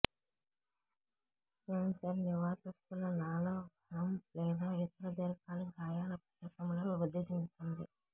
cancer నివాసస్థుల నాళవ్రణం లేదా ఇతర దీర్ఘకాలిక గాయాల ప్రదేశంలో వృద్ధి చెందుతుంది